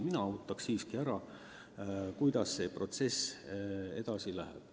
Mina oodanuks siiski ära, kuidas protsess edasi läheb.